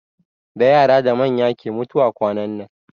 Da yara da manya ke mutuwa kwanan nan.